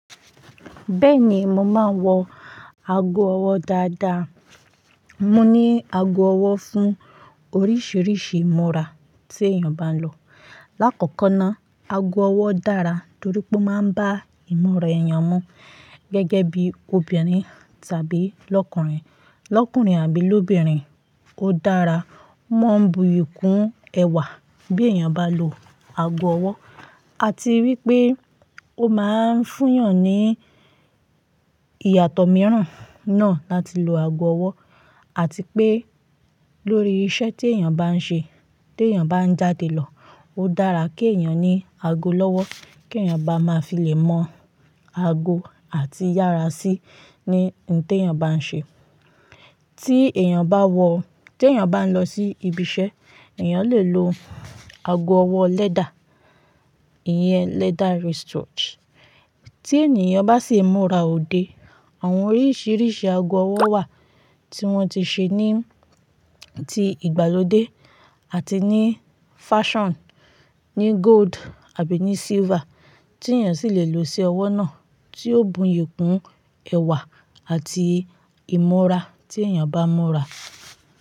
Bẹ́ẹ̀ ni, mo máa ń wọ ago ọwọ́ dáadáa. Mo ní ago ọwọ́ fún oríṣiríṣi ìmúra tí èèyàn bá ń lọ. Láàkọ́kọ́ ná, ago ọwọ́ dára torí pé ó máa ń bá ìmúra èèyàn mu gẹ́gẹ́ bí obìnrin tàbí lọ́kùnrin. Lọ́kùnrin àbí l'óbìnrin, ó dára, ó máa ń buyì kún ẹwà bí èèyàn bá lọ ago ọwọ́. A ti wipé ó máa ń fúyàn ní ìyàtọ̀ mìíràn náà láti lo ago ọwọ́ àti pé lórí iṣẹ́ tí èèyàn bá ń ṣe, tí èèyàn bá ń jáde lọ, ó dára kí èèyàn ní ago lọ́wọ́, kí èèyàn bá máa filẹ̀ mọ ago àti yára sí i ní ohun tí èèyàn bá ń ṣe. Tí èèyàn bá wọ-- tí èèyàn bá ń lọ sí ibi iṣẹ́, èèyàn lè lo ago ọwọ́ lẹ́dà, ìyẹn leather wristwatch. Tí èèyàn bá sì ìmúra òde, àwọn oríṣiríṣi ago ọwọ́ wà tí wọ́n ti ṣe ní ti ìgbàlódé àti ní fashion ní gold àbí ní silver tí èèyàn sì lè lo sí ọwọ́ náà tí ó buyì kún ẹwà àti ìmúra tí èèyàn bá ń múra.